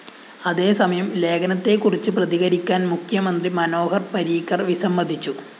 അതേസമയം ലേഖനത്തെക്കുറിച്ച് പ്രതികരിക്കാന്‍ മുഖ്യമന്ത്രി മനോഹര്‍ പരീക്കര്‍ വിസ്സമതിച്ചു